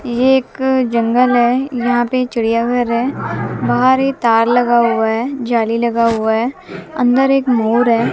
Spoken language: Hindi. ये एक जंगल है यहां पे चिड़ियाघर है बाहर एक तार लगा हुआ है जाली लगा हुआ है अंदर एक मोर है।